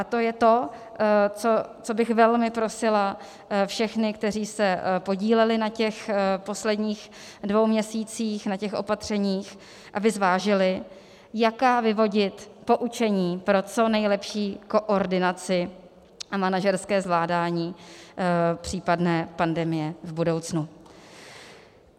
A to je to, co bych velmi prosila všechny, kteří se podíleli na těch posledních dvou měsících, na těch opatřeních, aby zvážili, jaká vyvodit poučení pro co nejlepší koordinaci a manažerské zvládání případné pandemie v budoucnu.